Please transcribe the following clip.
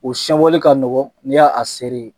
O sɛwali ka nɔgɔ ni ya a seri ye.